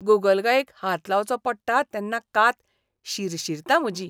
गोगलगायेक हात लावचो पडटा तेन्ना कात शिरशीरता म्हजी!